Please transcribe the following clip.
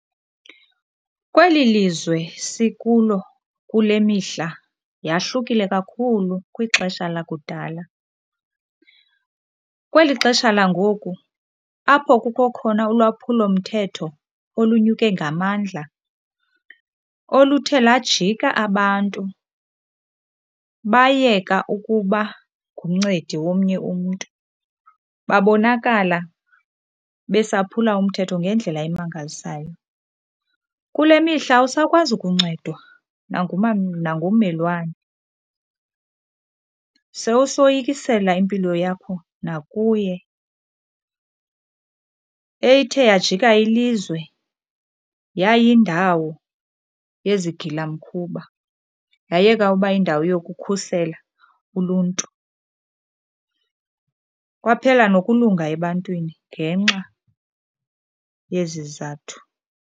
Kweli lizwe sikulo kule mihla yahlukile kakhulu kwixesha lakudala. Kweli xesha langoku apho kukho khona ulwaphulomthetho olunyuke ngamandla oluthe lajika abantu bayeka ukuba ngumncedi womnye umntu, babonakala besaphula umthetho ngendlela emangalisayo. Kule mihla awusakwazi kuncedwa nangummelwane, sowusoyikisela impilo yakho nakuye. Ethe yajika ilizwe yayindawo yezigilamkhuba yayeka uba yindawo yokukhusela uluntu. Kwaphela nokulunga ebantwini ngenxa yezi zizathu.